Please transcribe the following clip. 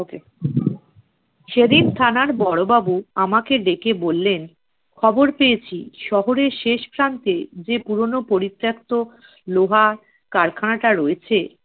okay সেদিন থানার বড়োবাবু আমাকে ডেকে বললেন, খবর পেয়েছি শহরের শেষ প্রান্তে যে পুরোনো পরিত্যক্ত লোহা কারখানাটা রয়েছে